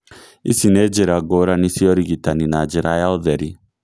Ici nĩ njĩra ngũrani cia ũrigitani na njĩra ya ũtheri